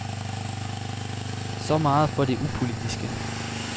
Så meget for det upolitiske.